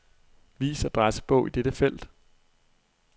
Vis adressebog i dette felt.